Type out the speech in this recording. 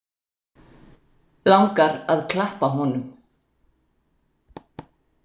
Langar að klappa honum.